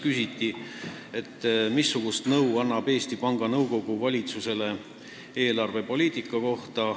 Küsiti, missugust nõu annab Eesti Panga Nõukogu valitsusele eelarvepoliitika kohta.